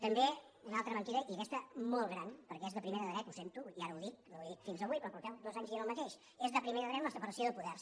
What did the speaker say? també una altra mentida i aquesta molt gran perquè és de primer de dret ho sento i ara ho dic no ho he dit fins avui però fa dos anys que dieu el mateix és de primer de dret la separació de poders